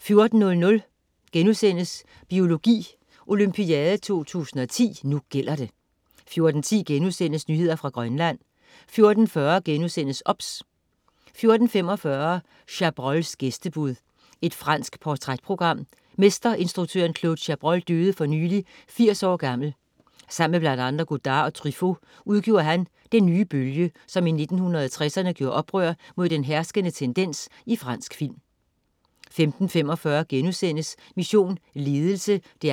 14.00 Biologi Olympiade 2010. Nu gælder det* 14.10 Nyheder fra Grønland* 14.40 OBS* 14.45 Chabrols gæstebud. Fransk portrætprogram. Mesterinstruktøren Claude Chabrol døde for nylig, 80 år gammel. Sammen med bl.a. Godard og Truffaut udgjorde han den "nye bølge", som i 1960'erne gjorde oprør mod den herskende tendens i fransk film 15.45 Mission Ledelse 2:5*